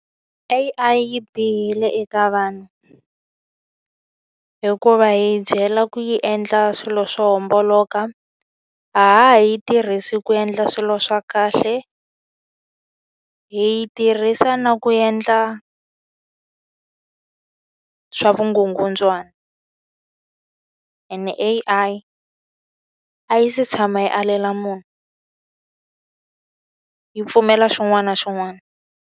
A_I yi bihile eka vanhu, hikuva hi yi byela ku yi endla swilo swo homboloka. A ha ha yi tirhisi ku endla swilo swa kahle, hi yi tirhisa na ku endla swa vukungundzwana. Ene A_Ia yi si tshama yi alela munhu, yi pfumela xin'wana na xin'wana.